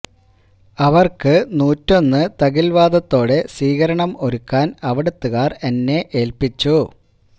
അവർക്ക് നൂറ്റൊന്നു തകിൽ വാദത്തോടെ സ്വീകരണം ഒരുക്കാൻ അവിടുത്തുകാർ എന്നെ ഏൽപ്പിച്ചു